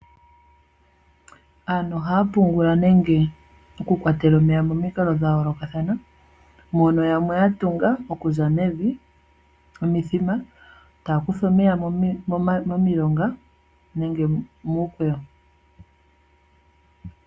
Aantu ohaya pungula nenge oku kwatela omeya momikalo dha yoolokathana, mono yamwe ya tunga oku za mevi omithima, yo taya kutha omeya momilonga nenge muukweyo.